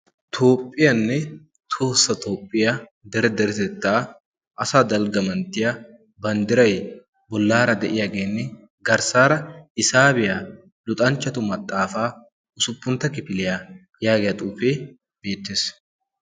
Toophphiyaanne toosa toophphiyaa dere deretettaa asa dalggamanttiya banddirai bollaara de'iyaageenne garssaara hisaabiyaa luxanchchatu maxaafaa usuppuntta kifiliyaa yaagiyaa xuufee beettees.